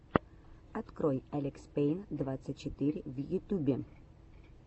открой алекспейн двадцать четыре в ютюбе